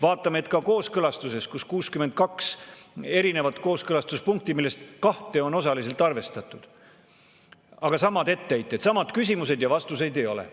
Vaatame, et ka kooskõlastuses, kus on 62 erinevat kooskõlastuspunkti, millest kahte on osaliselt arvestatud, on samad etteheited, samad küsimused, aga vastuseid ei ole.